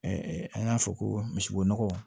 an y'a fɔ ko misibo nɔgɔ